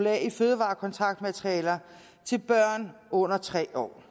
a i fødevarekontaktmaterialer til børn under tre år